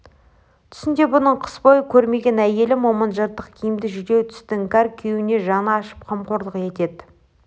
түсінде бұның қыс бойы көрмеген әйелі момын жыртық киімді жүдеу түсті іңкәр күйеуіне жаны ашып қамқорлық етеді